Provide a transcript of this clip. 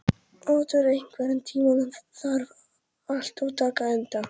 Otur, einhvern tímann þarf allt að taka enda.